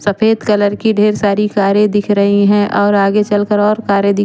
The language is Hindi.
सफेद कलर की ढेर सारी कारे दिख रही है और आगे चलकर और सारी कारे --